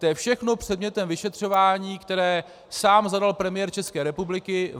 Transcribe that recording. To je všechno předmětem vyšetřování, které sám zadal premiér České republiky.